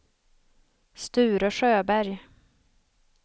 Sture Sjöberg